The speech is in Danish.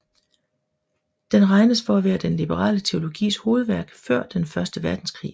Den regnes for at være den liberale teologis hovedværk før den første verdenskrig